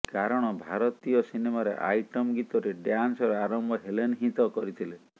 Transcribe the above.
କାରଣ ଭାରତୀୟ ସିନେମାରେ ଆଇଟମ୍ ଗୀତରେ ଡ୍ୟାନ୍ସର ଆରମ୍ଭ ହେଲେନ୍ ହିଁ ତ କରିଥିଲେ